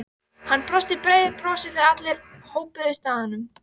Fundur var ákveðinn að mánuði liðnum.